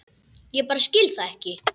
Ég bara skil það ekki.